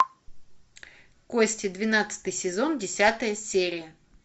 кости двенадцатый сезон десятая серия